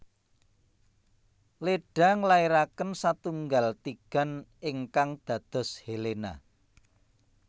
Leda nglairaken satunggal tigan ingkang dados Helena